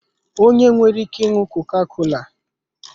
Onye ọ nwere ike ịnụ koka-kola